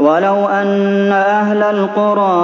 وَلَوْ أَنَّ أَهْلَ الْقُرَىٰ